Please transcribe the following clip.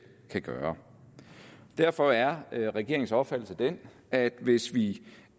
kan gøre derfor er regeringens opfattelse den at hvis vi